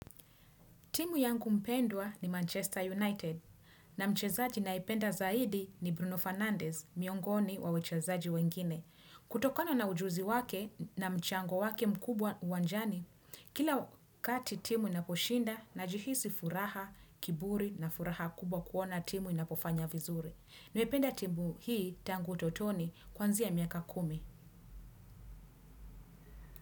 Timu yangu mpendwa ni Manchester United na mchezaji naependa zaidi ni Bruno Fernandez, miongoni wa wachezaji wengine. Kutokana na ujuzi wake na mchango wake mkubwa uwanjani, kila kati timu inaposhinda najihisi furaha, kiburi na furaha kubwa kuona timu inapofanya vizuri. Nimependa timu hii tangu utotoni kuanzia miaka kumi.